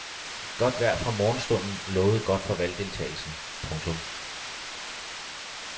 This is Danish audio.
Godt vejr fra morgenstunden lovede godt for valgdeltagelsen. punktum